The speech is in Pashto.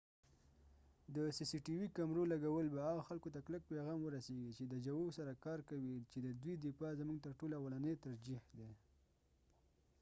د سی سی ټی وي cctv کمرو لګول به هغه خلکو ته کلک پیغام ورسیږی چې د ژوو سره کار کوي چې ددوي رفاه زموږ تر ټولو اولنی ترجیح ده